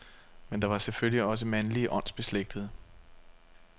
Men der var selvfølgelig også mandlige åndsbeslægtede.